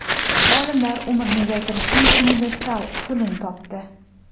Olimlar umrni uzaytirishning universal usulini topdi.